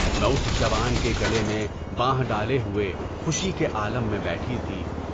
میں اُس جوان کے گلے میں بانہ ڈالے ہوئے خوشی کے عالم میں بیٹھی تھی۔